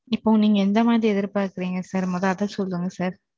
இப்போ, நீங்க எந்த மாதிரி எதிர்பார்க்கிறீங்க sir முத சொல்லுங்க sir